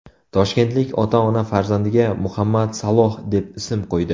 Toshkentlik ota-ona farzandiga Muhammad Saloh deb ism qo‘ydi .